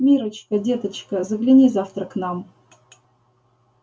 миррочка деточка загляни завтра к нам